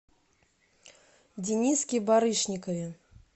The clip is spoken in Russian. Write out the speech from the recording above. дениске барышникове